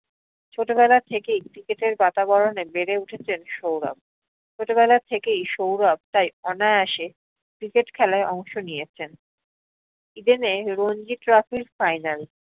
ছোটবেলা থেকেই cricket এর বাতাবরণে বেড়ে উঠেছেন সৌরভ। ছোটবেলার থেকেই সৌরভ তাই অনায়াসে cricket খেলাই অংশ নিয়েছেন। eden এ রঞ্জী trophy র final